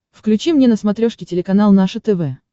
включи мне на смотрешке телеканал наше тв